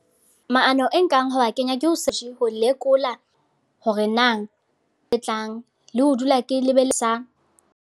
Maano e nkang ha wa kenya, ke ho se. Ho lekola hore na e tlang, le ho dula ke .